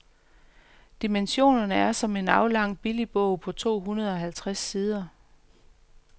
Dimensionerne er som en aflang billigbog på to hundrede halvtreds sider.